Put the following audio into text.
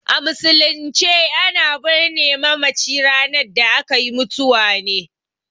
A musulunce a na birne mamaci ranar akai mutuwa ne